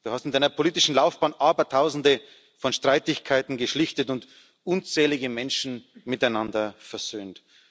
Du hast in Deiner politischen Laufbahn Abertausende von Streitigkeiten geschlichtet und unzählige Menschen miteinander versöhnt.